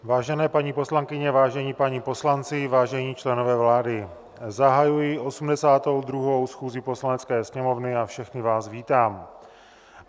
Vážené paní poslankyně, vážení páni poslanci, vážení členové vlády, zahajuji 82. schůzi Poslanecké sněmovny a všechny vás vítám.